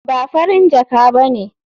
Ba Farin jaka ba ne.